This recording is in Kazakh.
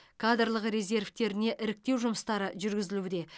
кадрлық резервтеріне іріктеу жұмыстары жүргізілуде